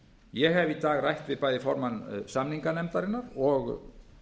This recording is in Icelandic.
ég hef í dag rætt við bæði formann samninganefndarinnar og